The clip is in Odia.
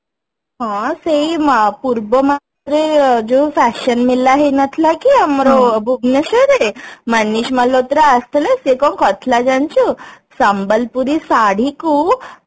ହଁ ସେଇ ଆଁ ପୂର୍ବ ମାସରେ ଯୋଉ fashion ମେଳା ହେଇ ନଥିଲା କି ଆମର ଭୁବନେଶ୍ବରରେ ମନୀଷ ମାଲହୋତ୍ରା ଆସିଥିଲା ସେ କଣ କରିଥିଲା ଜାଣିଛୁ ସମ୍ବଲପୁରୀ ଶାଢ଼ୀକୁ